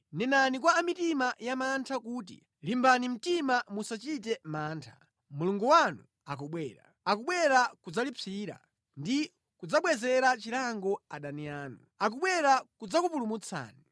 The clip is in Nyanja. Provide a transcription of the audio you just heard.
nenani kwa a mitima yamantha kuti; “Limbani mtima, musachite mantha; Mulungu wanu akubwera, akubwera kudzalipsira; ndi kudzabwezera chilango adani anu; akubwera kudzakupulumutsani.”